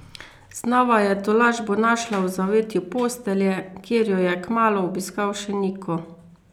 Znova je tolažbo našla v zavetju postelje, kjer jo je kmalu obiskal še Niko.